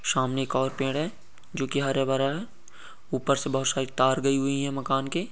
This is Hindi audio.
सामने एक और पेड़ है जो की हरा-भरा है ऊपर से बहुत सारी तार गयी हुई है मकान के।